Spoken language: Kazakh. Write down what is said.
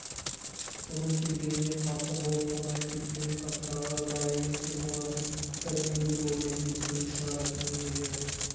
бұның келгеніне қарсы болып қонаев кеткенмен қасындағылар бар емес пе солардың бірі неге болмайды деп бүлік шығаратын немелер